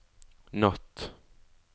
natt